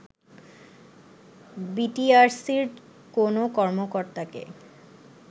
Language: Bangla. বিটিআরসির কোনো কর্মকর্তাকে